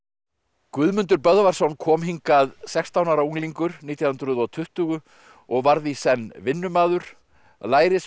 Guðmundur Böðvarsson kom hingað sextán ára unglingur nítján hundruð og tuttugu og varð í senn vinnumaður lærisveinn